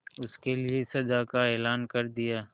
उसके लिए सजा का ऐलान कर दिया